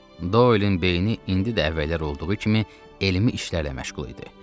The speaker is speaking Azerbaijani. Doylin beyni indidə əvvəllər olduğu kimi elmi işlərlə məşğul idi.